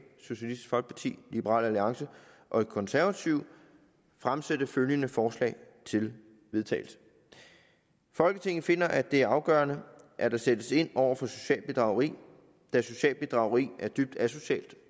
socialistisk folkeparti liberal alliance og konservative fremsætte følgende forslag til vedtagelse folketinget finder at det er afgørende at der sættes ind over for socialt bedrageri da socialt bedrageri er dybt asocialt